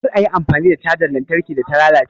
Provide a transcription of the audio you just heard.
Kar a yi amfani da cajar lantarkin da ta lalace